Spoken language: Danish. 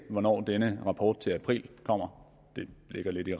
hvornår den rapport til april kommer det ligger lidt i